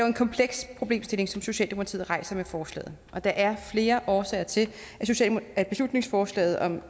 en kompleks problemstilling som socialdemokratiet rejser med forslaget og der er flere årsager til at beslutningsforslaget om